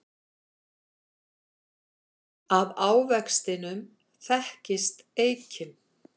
Af ávextinum þekkist eikin.